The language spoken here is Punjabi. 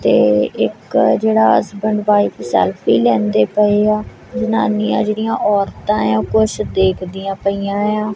ਤੇ ਇੱਕ ਜਿਹੜਾ ਹਸਬੈਂਡ ਵਾਇਫ ਸੈਲਫੀ ਲੈਂਦੇ ਪਏ ਆਂ ਜਨਾਨੀਆਂ ਜਿਹੜੀਆਂ ਔਰਤਾਂ ਏ ਆ ਉਹ ਕੁਛ ਦੇਖਦੀਆਂ ਪਈਆਂ ਏ ਆ।